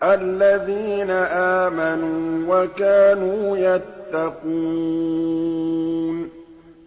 الَّذِينَ آمَنُوا وَكَانُوا يَتَّقُونَ